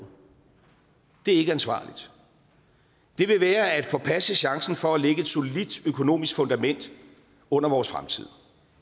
det er ikke ansvarligt det vil være at forpasse chancen for at lægge et solidt økonomisk fundament under vores fremtid